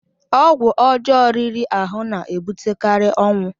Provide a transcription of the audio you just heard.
ọgwụ ọjọọ riri ahụ na-ebutekarị ọnwụ